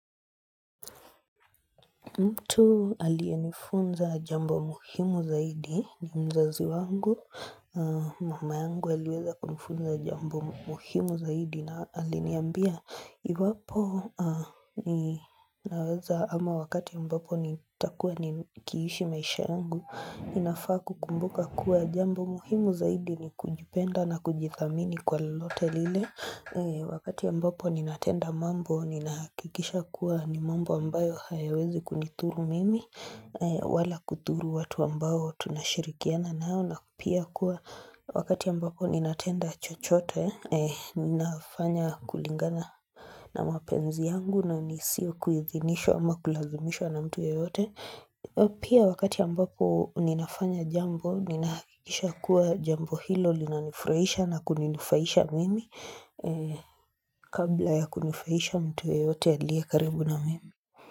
Mtu aliyenifunza jambo muhimu zaidi, ni mzazi wangu, mama yangu aliweza kunifunza jambo muhimu zaidi na aliniambia Iwapo naweza ama wakati ambapo nitakuwa nikiishi maisha yangu, ninafaa kukumbuka kuwa jambo muhimu zaidi ni kujipenda na kujithamini kwa lolote lile Wakati ambapo ninatenda mambo, ninahakikisha kuwa ni mambo ambayo hayawezi kunithuru mimi wala kuthuru watu ambao tunashirikiana nao Pia kuwa wakati ambapo ninatenda chochote, ninafanya kulingana na mapenzi yangu na nisio kuidhinishwa ama kulazimishwa na mtu yeyote Pia wakati ambapo ninafanya jambo, ninahakikisha kuwa jambo hilo linanifraisha na kuninufaisha mimi kabla ya kunufaisha mtu yeyote aliye karibu na mimi.